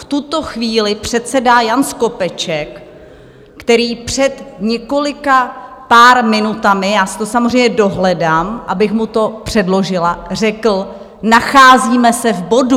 V tuto chvíli předsedá Jan Skopeček, který před několika pár minutami - já si to samozřejmě dohledám, abych mu to předložila, řekl: Nacházíme se v bodu.